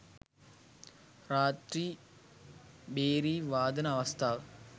රාත්‍රී භේරි වාදන අවස්ථා